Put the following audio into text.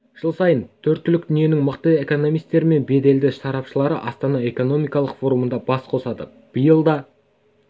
жыл сайын төрткүл дүниенің мықты экономистері мен белді сарапшылары астана экономикалық форумында бас қосады биыл да